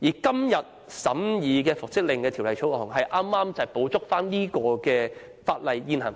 今天所審議有關復職令的《條例草案》，正好補足現行法例。